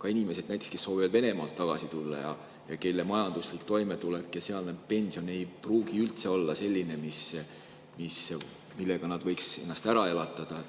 ka inimesed, kes soovivad tagasi tulla Venemaalt ja kelle majanduslik toimetulek ja sealt saadav pension ei pruugi üldse olla sellised, millega nad võiks ennast ära elatada.